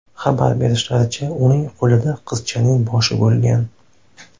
Xabar berishlaricha , uning qo‘lida qizchaning boshi bo‘lgan.